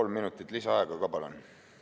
Kolm minutit lisaaega ka, palun!